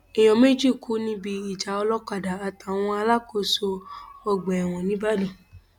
èèyàn méjì kú níbi ìjà olókàdá àtàwọn alákòóso ọgbà ẹwọn nìbàdàn